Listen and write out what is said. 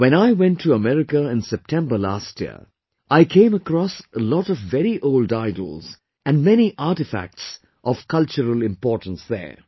When I went to America in September last year, I came across a lot of very old idols and many artefacts of cultural importance there